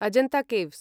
Ajanta caves